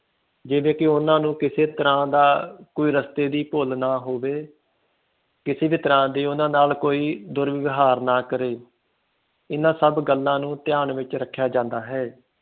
ਜਿਵੇ ਕਿ ਓਹਨਾ ਨੂੰ ਕਿਸੇ ਤਰ੍ਹਾਂ ਦਾ ਕੋਈ ਰਸਤੇ ਦੀ ਭੁੱਲ ਨਾ ਹੋਵੇ ਕਿਸੇ ਵੀ ਤਰ੍ਹਾਂ ਦੀ ਓਹਨਾ ਨਾਲ ਕੋਈ ਦੁਰਵਏਵਹਾਰ ਨਾ ਕਰੇ ਇਹਨਾਂ ਸਭ ਗੱਲਾਂ ਨੂੰ ਧਯਾਨ ਵਿਚ ਰੱਖਿਆ ਜਾਂਦਾ ਹੈ